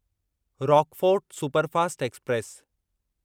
Rockfort superfast express